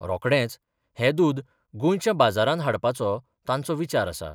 रोखडेंच हें दूद गोंयच्या बाजारांत हाडपाचो तांचो विचार आसा.